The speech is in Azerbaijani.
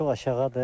Çox aşağıdır.